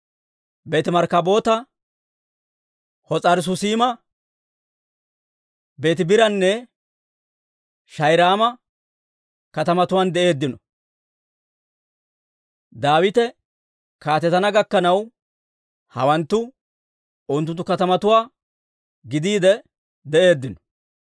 Beeti-Markkaboota, Hos'aari-Susiima, Beetibiiranne Shaa'irayma katamatuwaan de'eeddino. Daawite kaatetana gakkanaw hawanttu unttunttu katamatuwaa gidiide de'eeddino.